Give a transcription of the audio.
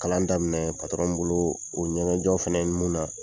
Kalan daminɛ min bolo, o ye ɲɛgɛn jɔ fɛnɛ ye mun na